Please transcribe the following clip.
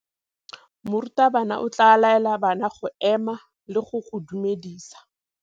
Morutabana o tla laela bana go ema le go go dumedisa.